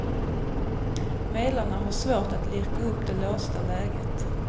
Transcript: Medlarna har svårt att lirka upp det låsta läget.